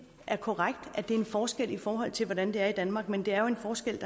er korrekt at det er en forskel i forhold til hvordan det er i danmark men det er jo en forskel